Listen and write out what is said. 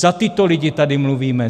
Za tyto lidi tady mluvíme!